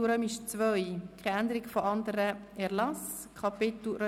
– Ich sehe keinen Widerspruch.